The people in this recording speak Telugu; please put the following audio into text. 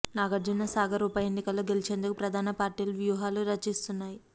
నాగార్జున సాగర్ ఉప ఎన్నికలో గెలిచేందుకు ప్రధాన పార్టీలు వ్యుహాలు రచిస్తున్నాయి